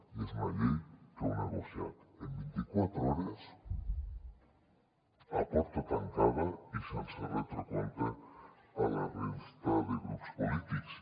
i és una llei que heu negociat en vint i quatre hores a porta tancada i sense retre compte a la resta de grups polítics